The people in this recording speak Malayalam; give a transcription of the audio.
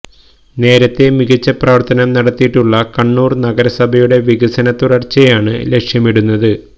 നേരത്തെ മികച്ച പ്രവര്ത്തനം നടത്തിയിട്ടുള്ള കണ്ണൂര് നഗരസഭയുടെ വികസന തുടര്ച്ചയാണ് ലക്ഷ്യമിടുന്നത്